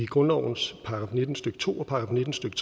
grundlovens § nitten stykke to og § nitten stykke